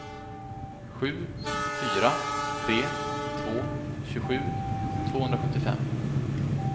sju fyra tre två tjugosju tvåhundrasjuttiofem